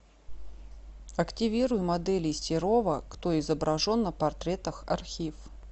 активируй моделей серова кто изображен на портретах архив